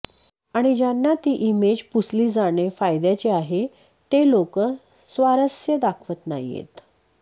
आणि ज्यांना ती ईमेज पुसली जाणे फायद्याचे आहे ते लोकं स्वारस्य दाखवत नाहीयेत